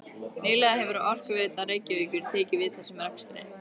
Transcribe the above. Nýlega hefur Orkuveita Reykjavíkur tekið við þessum rekstri.